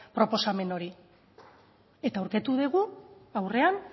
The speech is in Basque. proposamen hori eta aurkitu dugu aurrean